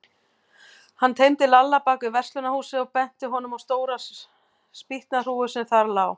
Hann teymdi Lalla bak við verslunarhúsið og benti honum á stóra spýtnahrúgu sem þar lá.